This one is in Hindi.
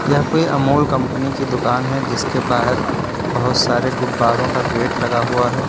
यह कोई अमुल कंपनी की दुकान है जिसके बाहर बहोत सारे गब्बरों का गेट लगा हुआ है।